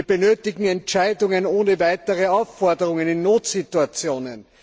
Wir benötigen Entscheidungen ohne weitere Aufforderungen in Notsituationen.